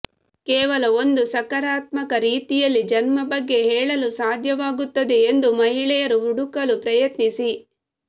ಕೇವಲ ಒಂದು ಸಕಾರಾತ್ಮಕ ರೀತಿಯಲ್ಲಿ ಜನ್ಮ ಬಗ್ಗೆ ಹೇಳಲು ಸಾಧ್ಯವಾಗುತ್ತದೆ ಎಂದು ಮಹಿಳೆಯರು ಹುಡುಕಲು ಪ್ರಯತ್ನಿಸಿ